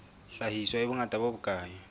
hlahiswa e bongata bo bokae